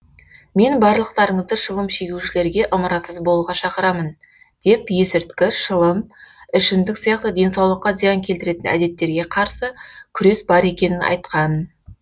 мен барлықтарыңызды шылым шегушілерге ымырасыз болуға шақырамын деп есірткі шылым ішімдік сияқты денсаулыққа зиян келтіретін әдеттерге қарсы күрес бар екенін айтқан